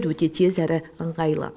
өте тез әрі ыңғайлы